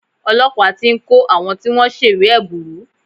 Olọ́pàá ti ń kò àwọn tí wọ́n ń ṣèwé ẹ̀bùrú.